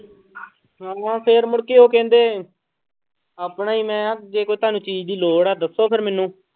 ਹਨਾ ਫਿਰ ਮੁੜਕੇ ਉਹ ਕਹਿੰਦੇ ਆਪਣਾ ਹੀ ਮੈਂ ਕਿਹਾ ਜੇ ਕੋਈ ਤੁਹਾਨੂੰ ਚੀਜ਼ ਦੀ ਲੋੜ ਹੈ ਦੱਸੋ ਫਿਰ ਮੈਨੂੰ।